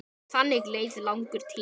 Þannig leið langur tími.